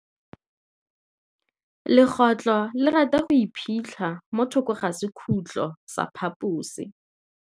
Legôtlô le rata go iphitlha mo thokô ga sekhutlo sa phaposi.